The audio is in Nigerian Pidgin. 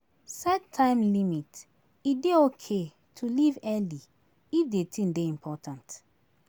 Set time limit, e dey okay to leave early if the thing dey important